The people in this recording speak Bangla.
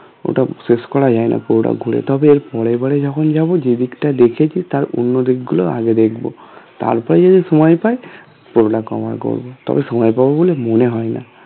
ওটা শেষ করা যায় না পুরোটা ঘুরে তবে এর পরের বার যখন যাব যে দিকটা দেখেছি তার অন্য দিক গুলো আগে দেখব তারপরে যদি সময় পাই পুরোটা cover করব করব তবে সময় পাবো বলে মনে হয় না